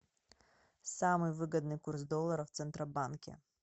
самый выгодный курс доллара в центробанке